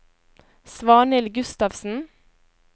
Svanhild Gustavsen